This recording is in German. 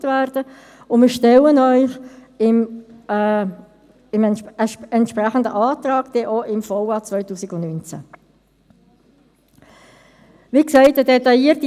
Sie finden die Chronologie zu dieser ganzen schwierigen Phase auf den Seiten 14–21 in unserem Bericht.